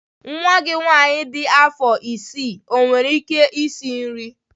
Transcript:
Nwa gị nwanyị dị afọ isii owere ike isi nri?